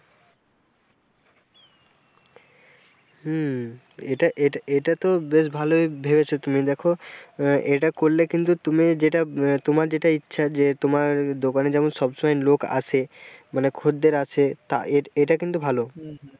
হম এটা এটা তো বেশ ভালই ভেবেছো তুমি দেখো আহ এটা করলে কিন্তু তুমি যেটা আহ তোমার যেটা ইচ্ছা যে তোমার দোকানে যেন সব সময় লোক আসে মানে খদ্দের আসে তা এটা এটা কিন্তু ভালো,